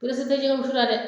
Perese te jɛgɛ wusu la dɛ